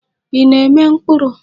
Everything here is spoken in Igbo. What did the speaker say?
Ị na-eme mkpuru?